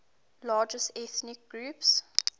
largest ethnic groups